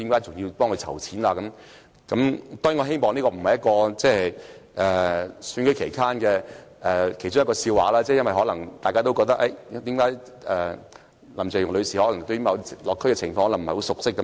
當然，我希望這不是特首選舉期間的一個笑話，因為大家可能因而覺得林鄭月娥女士對社區的情況不熟悉。